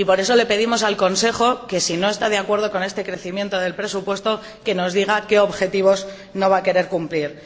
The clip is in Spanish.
Por eso le pedimos al Consejo que, si no está de acuerdo con este aumento del presupuesto, nos diga qué objetivos no va a querer cumplir.